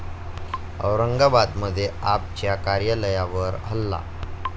औरंगाबादमध्ये 'आप'च्या कार्यालयावर हल्ला